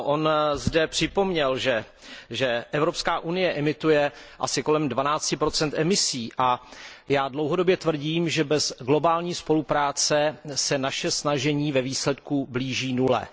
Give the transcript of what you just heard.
Ano, on zde připomněl, že Evropská unie emituje asi kolem 12 emisí, a já dlouhodobě tvrdím, že bez globální spolupráce se naše snažení ve výsledku blíží nule.